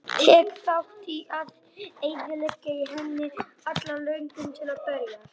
Tek þátt í að eyðileggja í henni alla löngun til að berjast.